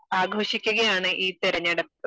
ആഘോഷിക്കുകയാണ് ഈ തിരഞ്ഞെടുപ്പ്